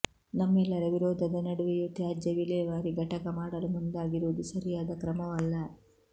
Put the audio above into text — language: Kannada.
ನಮ್ಮೆಲ್ಲರ ವಿರೋಧದ ನಡುವೆಯೂ ತ್ಯಾಜ್ಯವಿಲೇವಾರಿ ಘಟಕ ಮಾಡಲು ಮುಂದಾಗಿರುವುದು ಸರಿಯಾದ ಕ್ರಮವಲ್ಲ